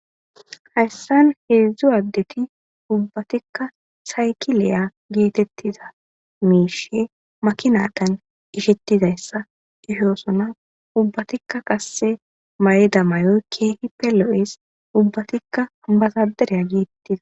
Hayssan heedzdzu addeti ubbatikka saykileya geetettida miishe makinakan ishettidayssa ihoosona ubbatikka kasse mayida mayoy keehippe lo7es ubbatikka bazadereya giittida.